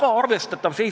Aitäh, härra juhataja!